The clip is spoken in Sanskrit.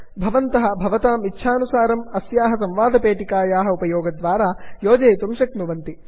भवन्तः भवतां इच्छानुसारम् अस्याः संवादपेटिकायाः उपयोगद्वारा योजयितुं शक्नुवन्ति